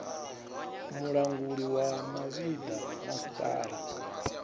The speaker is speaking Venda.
mulanguli wa mavhi ḓa masipala